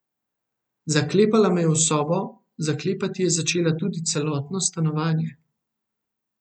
Zaklepala me je v sobo, zaklepati je začela tudi celotno stanovanje.